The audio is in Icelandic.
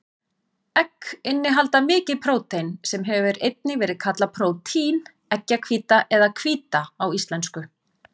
Egg innihalda mikið prótein, sem hefur einnig verið kallað prótín, eggjahvíta eða hvíta á íslensku.